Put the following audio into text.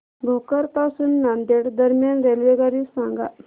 भोकर पासून नांदेड दरम्यान रेल्वेगाडी सांगा